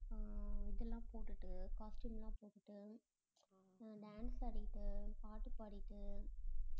ஆஹ் இது எல்லாம் போட்டுட்டு costume எல்லாம் போட்டுட்டு ஆஹ் dance ஆடிட்டு பாட்டு பாடிட்டு